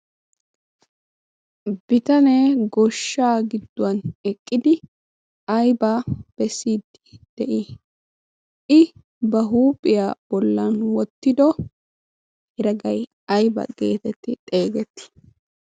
bitanee goshshaa gidduwan eqqidi ayba pessidi de'ii i ba huuphiyaa bollan wottido heraggay ayba geetetti xeegetti